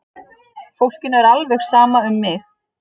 Fólkinu er alveg sama um mig!